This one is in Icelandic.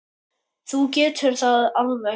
Þú getur það alveg.